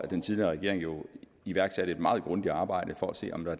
den tidligere regering jo iværksatte et stykke meget grundigt arbejde for at se om der